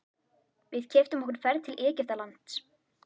Við keyptum okkur ferð til Egyptalands.